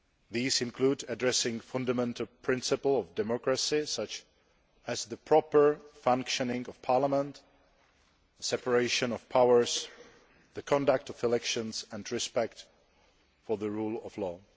These include addressing the fundamental principles of democracy, such as the proper functioning of Parliament, separation of powers, the conduct of elections and respect for the rule of law.